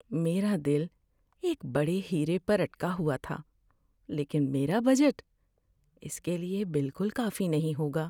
میرا دل ایک بڑے ہیرے پر اٹکا ہوا تھا، لیکن میرا بجٹ اس کے لیے بالکل کافی نہیں ہوگا۔